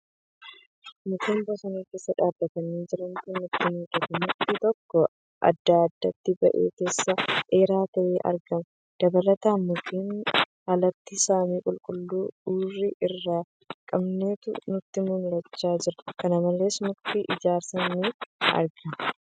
Mukkeen bosona keessa dhaabbatanii jirantu natti mul'ata. Mukti tokko addatti addatti bahee keessaa dheeraa ta'ee argama. Dabalataan, mukkeeniin alatti samii qulqulluu urrii hin qabneetu natti mul'achaa jira. kana malees mukti ejersaa ni argama.